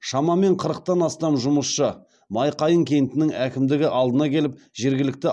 шамамен қырықтан астам жұмысшы майқайың кентінің әкімдігі алдына келіп жергілікті